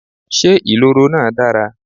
Ṣé ìloro náà dára?